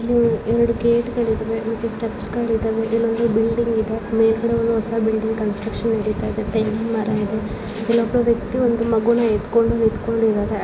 ಇದು ಎರಡು ಗೇಟ್ಗಳು ಇದಾವೆ ಸ್ಟೆಪ್ಸ್ ಗಳು ಇದಾವೆ ಇಲ್ಲೊಂದು ಬಿಲ್ಡಿಂಗ್ ಇದೆ ಮೇಲ್ಗಡೆ ಒಂದು ಹೊಸ ಬಿಲ್ಡಿಂಗ್ ಕನ್ಸ್ಟ್ರಕ್ಷನ್ ನಡಿತಾ ಇದೆ ತೆಂಗಿನ ಮರ ಇದೆ ಇಲ್ಲಿ ಒಬ್ಬ ವ್ಯಕ್ತಿ ಒಂದು ಮಗುವನ್ನು ಎತ್ತುಕೊಂಡು ನಿಂತ್ಕೊಂಡು ಇದ್ದಾರೆ ..